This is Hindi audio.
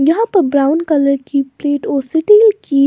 यहां पर ब्राउन कलर की प्लेट और सिटील की --